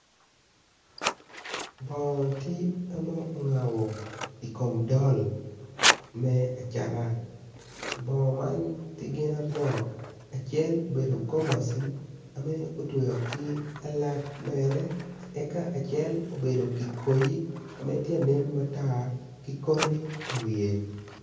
Bongo tye ame ongabo ikom dol me acata bongo man tye gin aryo acel obedo gomaci ame otweyo ki alat mere aka acel obedo ki koyi me tya anen matar ki koti iwiye